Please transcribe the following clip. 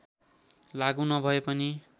लागु नभए पनि